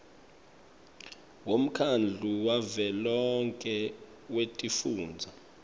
wemkhandlu wavelonkhe wetifundza